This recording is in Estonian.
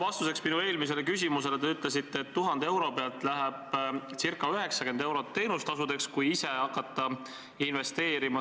Vastuseks minu eelmisele küsimusele te ütlesite, et 1000 euro pealt läheb ca 90 eurot teenustasudeks, kui ise hakata investeerima.